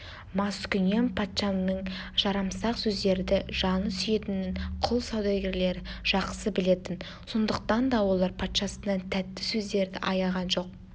маскүнем патшаның жарамсақ сөздерді жаны сүйетінін құл саудагерлері жақсы білетін сондықтан да олар патшасынан тәтті сөздерді аяған жоқ